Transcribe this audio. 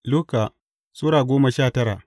Luka Sura goma sha tara